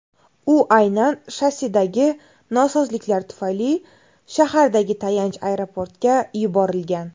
U aynan shassidagi nosozliklar tufayli shahardagi tayanch aeroportga yuborilgan.